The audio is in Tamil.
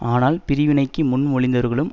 ஆனால் பிரிவினைக்கு முன்மொழிந்தவர்களும்